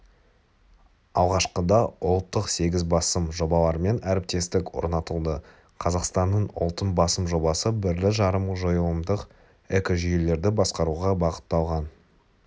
алғашқыда ұлттық сегіз басым жобалармен әріптестік орнатылды қазақстанның ұлттың басым жобасы бірлі-жарым жойылымдық экожүйелерді басқаруға бағытталған